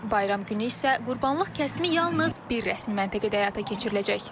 Bayram günü isə qurbanlıq kəsimi yalnız bir rəsmi məntəqədə həyata keçiriləcək.